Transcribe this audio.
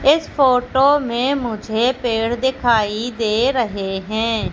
इस फोटो में मुझे पेड़ दिखाई दे रहे हैं।